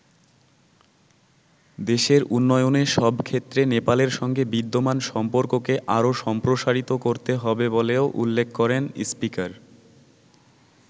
দেশের উন্নয়নের সব ক্ষেত্রে নেপালের সঙ্গে বিদ্যমান সম্পর্ককে আরও সম্প্রসারিত করতে হবে বলেও উল্লেখ করেন স্পিকার।